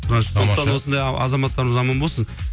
сондықтан осындай азаматтарымыз аман болсын